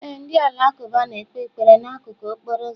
Ee, ndị Alakụba na-ekpe ekpere n'akụkụ okporo ụzọ.